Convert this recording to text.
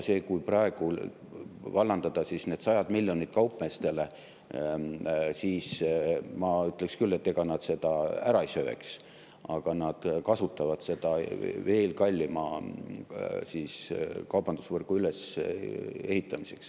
Kui praegu need sajad miljonid kaupmeestele, siis ma ütleksin küll, et ega nad seda ära ei sööks, aga nad kasutaksid seda veel kallima kaubandusvõrgu ülesehitamiseks.